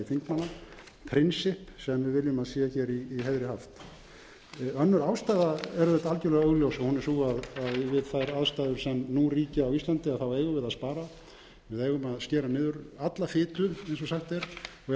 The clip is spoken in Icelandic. þingmanna prinsipp sem við viljum að sé hér í heiðri haft önnur ástæða er auðvitað algjörlega augljós hún er sú að við þær aðstæður sem nú ríkja á íslandi eigum við að spara við eigum að skera niður alla fitu eins og sagt er og ef